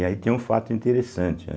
E aí tem um fato interessante, né?